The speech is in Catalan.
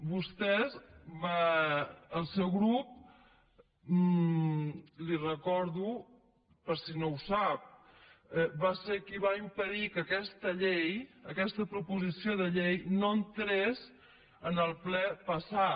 vostès el seu grup li ho recordo per si no ho sap va ser qui va impedir que aquesta llei aquesta proposició de llei entrés en el ple passat